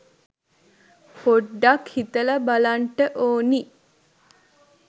පොඩ්ඩක් හිතලා බලන්ට ඕනි.